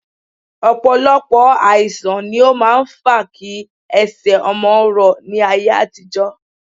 Ọ̀pọ̀lọpọ̀ àìsà̀n ni ó máa ń fa kí ẹsẹ̀ ọmọ rọ ní ayé àtijọ́